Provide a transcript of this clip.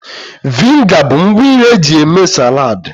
Vịnịga bụ ngwa nri eji eme saladị